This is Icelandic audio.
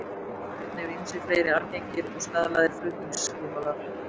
Einnig eru til ýmsir fleiri algengir og staðlaðir flutningsskilmálar.